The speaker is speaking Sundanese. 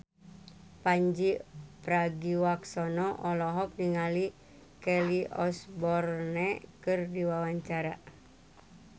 Pandji Pragiwaksono olohok ningali Kelly Osbourne keur diwawancara